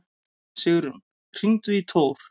Sigrún, hringdu í Tór.